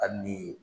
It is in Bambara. Hali ni